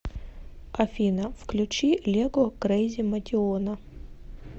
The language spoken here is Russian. афина включи лего крейзи мотиона